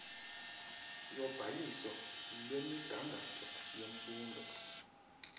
yobhaliso lwemigangatho yemfundo